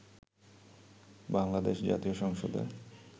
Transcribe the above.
বাংলাদেশ জাতীয় সংসদে